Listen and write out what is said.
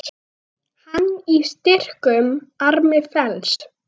Hann í styrkum armi felst.